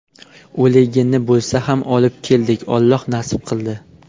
O‘ligini bo‘lsa ham olib keldik, Alloh nasib qildi.